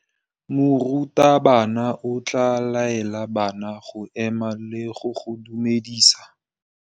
Morutabana o tla laela bana go ema le go go dumedisa.